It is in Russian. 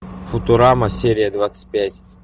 футурама серия двадцать пять